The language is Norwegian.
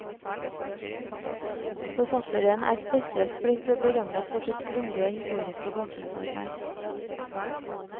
Forfatteren er spesielt blitt berømmet for sitt grundige historiske bakgrunnsarbeid.